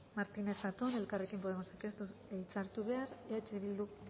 martínez zatón elkarrekin podemosek ez du hitza hartu behar eh bilduk